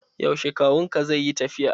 Yaushe kawun ka zai yi tafiya?